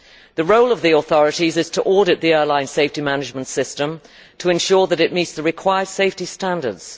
The role of the authorities is to audit the airline safety management system to ensure that it meets the required safety standards.